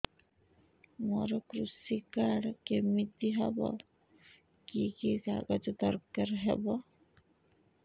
ମୋର କୃଷି କାର୍ଡ କିମିତି ହବ କି କି କାଗଜ ଦରକାର ହବ